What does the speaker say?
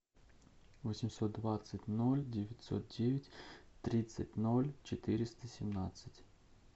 восемьсот двадцать ноль девятьсот девять тридцать ноль четыреста семнадцать